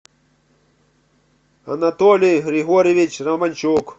анатолий григорьевич романчук